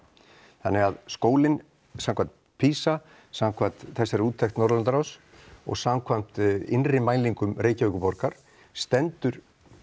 þannig að skólinn samkvæmt PISA samkvæmt þessari úttekt Norðurlandaráðs og samkvæmt innri mælingum Reykjavíkurborgar stendur